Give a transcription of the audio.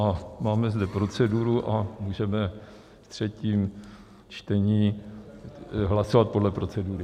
A máme zde proceduru a můžeme v třetím čtení hlasovat podle procedury.